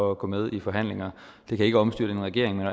at gå med i forhandlinger det kan ikke omstyrte en regering